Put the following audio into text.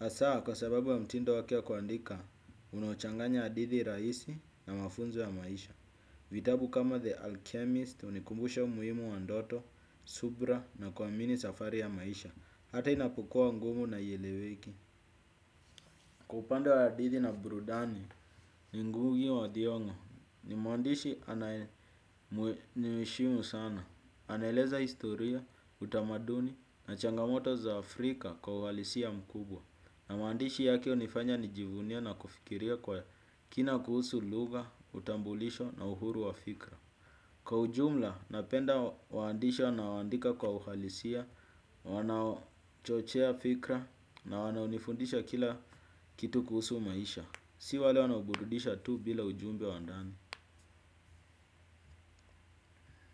Asaa kwa sababu wa mtindo wake wa kuandika unochanganya adithi raisi na mafunzo ya maisha. Vitabu kama The Alchemist unikumbusha umuhimu wa ndoto, subra na kuamini safari ya maisha. Hata inapukua ngumu na ieleweki. Kwa upande wa hadithi na brudani ni ngugi wa thiong'o ni mwandishi anaye nimeeshimu sana. Anaeleza historia, utamaduni na changamoto za Afrika kwa uhalisia mkubwa. Na maandishi yake unifanya nijivunia na kufikiria kwa kina kuhusu lugha, utambulisho na uhuru wa fikra. Kwa ujumla, napenda waandishi wanao andika kwa uhalisia, wanao chochea fikra na wanao nifundisha kila kitu kuhusu maisha. Si wale wanao burudisha tu bila ujumbe wa ndani.